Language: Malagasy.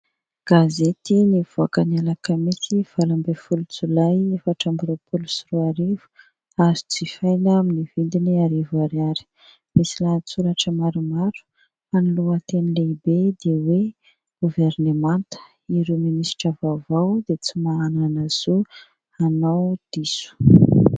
Gazety nivoaka ny alakamisy valo ambin'ny folo jolay efatra amby roapolo sy roa arivo, azo jifaina amin'ny vidiny arivo ariary. Misy lahatsoratra maromaro fa ny lohateny lehibe dia hoe goverinemanta, ireo minisitra vaovao dia tsy manana zo hanao diso.